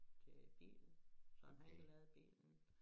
Til bilen så han har ikke lavet bilen